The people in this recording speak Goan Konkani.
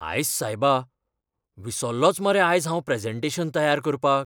आयस्स सायबा! विसल्लोंच मरे आयज हांव प्रॅजेंटेशन तयार करपाक!